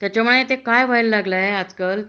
त्याच्यामुळे ते काय व्हायला लागलं आजकाल